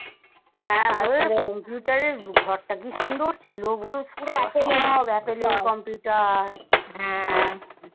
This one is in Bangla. হ্যাঁ computer এর ঘরটা কি সুন্দর ছিল বল? আপ্পলের computer